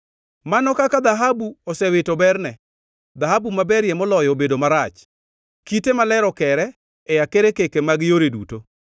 Mano kaka dhahabu osewito berne, dhahabu maberie moloyo obedo marach! Kite maler okere e akerkeke mag yore duto.